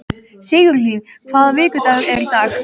Sigurlín, hvaða vikudagur er í dag?